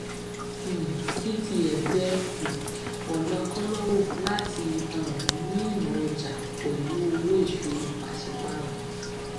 um etf jẹ um ọnà kònáwó láti um ní ìmọ ọjà pẹlú owó ìṣòwò pàṣípààrọ